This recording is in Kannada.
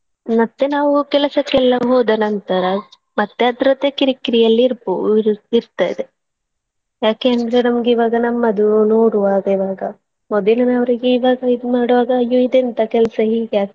ಮತ್ತೇ ನಾವು ಕೆಲಸಕ್ಕೆಲ್ಲ ಹೋದ ನಂತರ ಮತ್ತೇ ಅದರದ್ದೇ ಕಿರ್ಕಿರಿಯಲ್ಲಿ ಇರ್ಬೋ~ ಇರ್ತದೆ ಯಾಕಂದ್ರೆ ನಮ್ಗೆ ಇವಾಗ ನಮ್ಮದು ನೋಡುವಾಗಲೇ ಮೊದಲಿನವರಿಗೆ ಇವಾಗ ಇದ್ ಮಾಡುವಾಗ ಅಯ್ಯೋ ಇದೆಂತ ಕೆಲ್ಸ ಹೀಗೆ ಆಗ್ತದೆ.